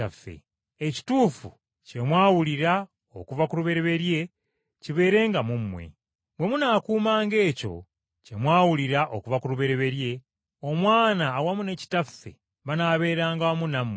Ekituufu kye mwawulira okuva ku lubereberye kibeerenga mu mmwe. Bwe munaakuumanga ekyo kye mwawulira okuva ku lubereberye, Omwana awamu ne Kitaffe banaabeeranga wamu nammwe.